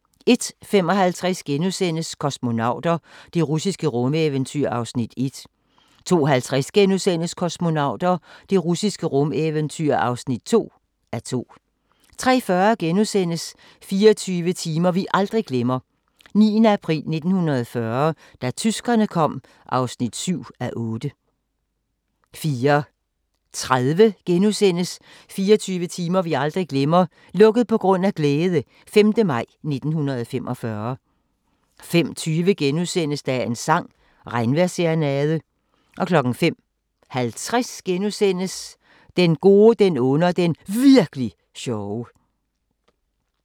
01:55: Kosmonauter – det russiske rumeventyr (1:2)* 02:50: Kosmonauter – det russiske rumeventyr (2:2)* 03:40: 24 timer vi aldrig glemmer: 9. april 1940 – da tyskerne kom (7:8)* 04:30: 24 timer vi aldrig glemmer - "Lukket på grund af glæde" - 5. maj 1945 * 05:20: Dagens sang: Regnvejrsserenade * 05:50: Den gode, den onde og den Virk'li sjove *